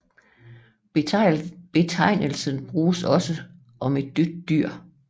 Betegnelsen bruges også om et dødt dyr jf